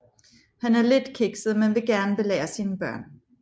Han er lidt kikset men vil gerne belære sine børn